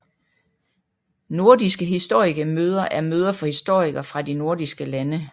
Nordiske historikemøder er møder for historikere fra de nordiske lande